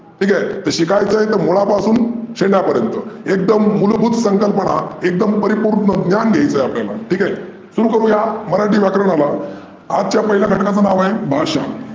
ठिक आहे. तर शिकायचं असेल तर मुळापासून शेंड्यापर्यंत. एकदम मुलभूत संकल्पना एकदम परिपुर्ण ज्ञान घ्यायचं आहे आपल्याला, ठिक आहे. सुरू करूया मराठी व्याकरणाला. आजच्या पहिल्या घटकाचे नाव आहे भाषा.